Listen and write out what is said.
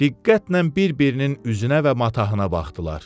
Diqqətlə bir-birinin üzünə və matahına baxdılar.